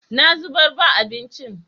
Na zubar ba abincin.